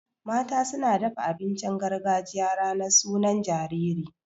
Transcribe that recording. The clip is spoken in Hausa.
Mata suna dafa abincin gargajiya ranar sunan jariri.